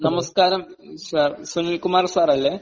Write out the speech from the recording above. നമസ്കാരം, sir. Sunil Kumar sir അല്ലെ?